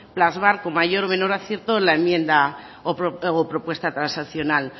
plasmar con mayor o menor acierto en la enmienda o propuesta transaccional